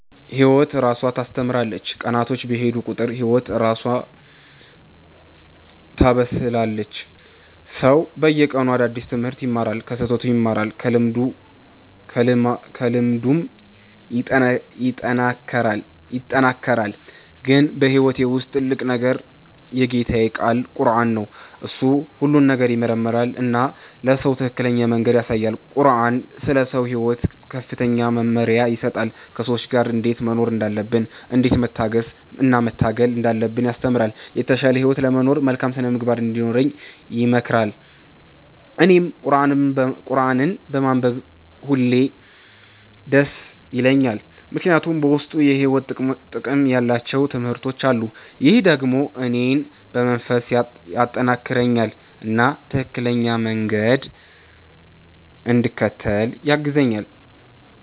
ህይወት እራሷ ታስተምራለች፤ ቀናቶች በሄዱ ቁጥር ህይወት እራሷ ታበስላለች። ሰው በየቀኑ አዲስ ትምህርት ይማራል፣ ከስህተቱም ይማራል፣ ከልምዱም ይጠናከራል። ግን በህይወቴ ውስጥ ትልቁ ነገር የጌታዬ ቃል ቁረአን ነው። እሱ ሁሉን ነገር ይመራል እና ለሰው ትክክለኛ መንገድ ያሳያል። ቁረአን ስለ ሰው ሕይወት ከፍተኛ መመሪያ ይሰጣል፤ ከሰዎች ጋር እንዴት መኖር እንዳለብን፣ እንዴት መታገስ እና መታገል እንዳለብን ያስተምራል። የተሻለ ህይወት ለመኖር መልካም ሥነ-ምግባር እንዲኖረን ይመክራል። እኔም ቁረአንን በማንበብ ሁሌ ደስ ይለኛል፣ ምክንያቱም በውስጡ የሕይወት ጥቅም ያላቸው ትምህርቶች አሉ። ይህ ደግሞ እኔን በመንፈስ ያጠናክረኛል እና ትክክለኛ መንገድ እንድከተል ያግዛኛል።